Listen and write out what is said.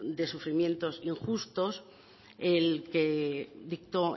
de sufrimientos injustos el que dictó